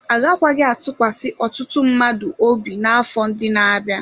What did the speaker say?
Agakwaghị atụkwasị ọtụtụ mmadụ obi n'afọ ndị na-abịa.